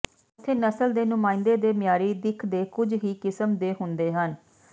ਉੱਥੇ ਨਸਲ ਦੇ ਨੁਮਾਇੰਦੇ ਦੇ ਮਿਆਰੀ ਦਿੱਖ ਦੇ ਕੁਝ ਹੀ ਕਿਸਮ ਦੇ ਹੁੰਦੇ ਹਨ